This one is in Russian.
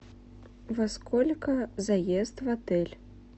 во сколько заезд в отель